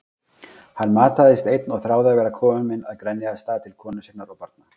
Hann mataðist einn og þráði að vera kominn að Grenjaðarstað til konu sinnar og barna.